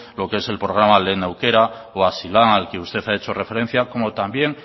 lo que es el programa lehen aukera o hazilan al que usted ha hecho referencia como también